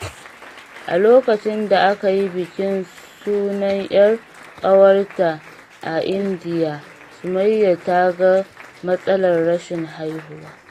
A lokacin da aka yi bikin sunan ƴar ƙawarta a Indiya, Sumayya ta ga matsalar rashin haihuwa.